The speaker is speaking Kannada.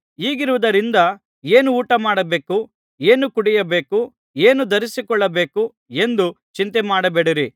ಹೀಗಿರುವುದರಿಂದ ಏನು ಊಟಮಾಡಬೇಕು ಏನು ಕುಡಿಯಬೇಕು ಏನು ಧರಿಸಿಕೊಳ್ಳಬೇಕು ಎಂದು ಚಿಂತೆಮಾಡಬೇಡಿರಿ